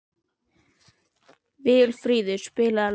Vilfríður, spilaðu lag.